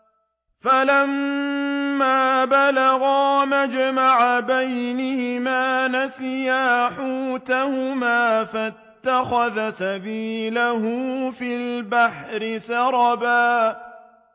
فَلَمَّا بَلَغَا مَجْمَعَ بَيْنِهِمَا نَسِيَا حُوتَهُمَا فَاتَّخَذَ سَبِيلَهُ فِي الْبَحْرِ سَرَبًا